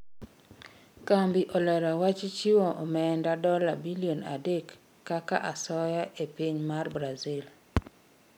Kambi olero wach chiwo omenda dola bilion adek kaka asoya ee piny mar Brazil